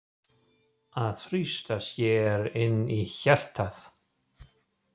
Að þrýsta sér inn í hjartað.